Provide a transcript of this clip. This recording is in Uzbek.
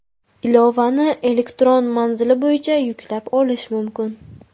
Ilovani elektron manzili bo‘yicha yuklab olish mumkin.